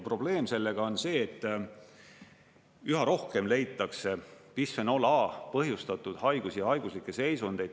Probleem sellega on see, et üha rohkem leitakse bisfenool A põhjustatud haigusi ja haiguslikke seisundeid.